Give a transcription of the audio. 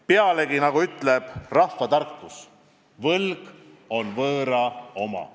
Pealegi, nagu ütleb rahvatarkus, võlg on võõra oma.